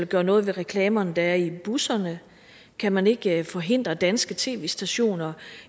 gøre noget ved reklamerne der er i busserne kan man ikke forhindre danske tv stationer